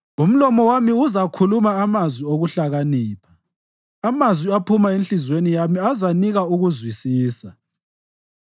Umlomo wami uzakhuluma amazwi okuhlakanipha; amazwi aphuma enhliziyweni yami azanika ukuzwisisa.